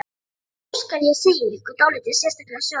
Nú skal segja ykkur dálítið sérstaka sögu.